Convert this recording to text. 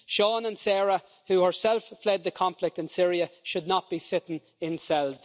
Sean and Sarah, who herself fled the conflict in Syria, should not be sitting in cells.